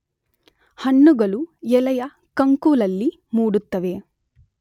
ಹಣ್ಣುಗಳು ಎಲೆಯ ಕಂಕುಳಲ್ಲಿ ಮೂಡುತ್ತವೆ.